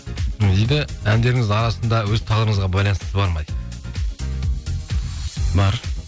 не дейді әндеріңіздің арасында өз тағдырыңызға байланыстысы бар ма дейді бар